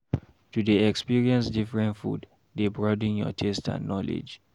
To dey experience different food dey broaden your taste and knowledge.